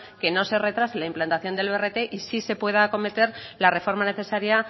que no se retrase la implantación del brt y sí se pueda acometer la reforma necesaria